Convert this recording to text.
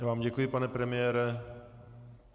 Já vám děkuji, pane premiére.